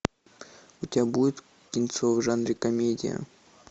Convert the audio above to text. у тебя будет кинцо в жанре комедия